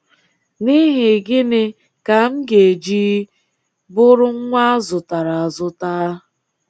N’ihi gịnị ka m ga-eji bụrụ nwa a zụtara azụta?